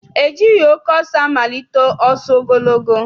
E jighị oke ọsọ amalite ọsọ ogologo.